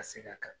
Ka seg'a kan